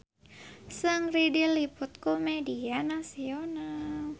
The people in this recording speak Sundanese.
Seungri diliput ku media nasional